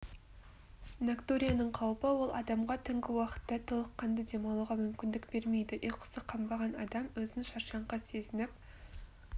ноктурияның қаупі ол адамға түнгі уақытта толыққанды демалуға мүмкіндік бермейді ұйқысы қанбаған адам өзін шаршаңқы сезініп